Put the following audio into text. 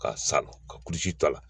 Ka san ka kulusi ta la